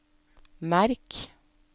merk